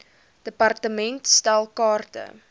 department stel kaarte